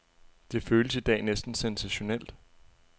Det føles i dag næsten sensationelt.